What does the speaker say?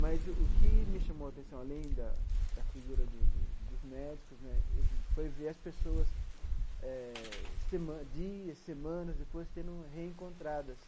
Mas o que me chamou atenção, além da da figura do do dos médicos né, foi ver as pessoas eh sema dias, semanas depois sendo reencontradas.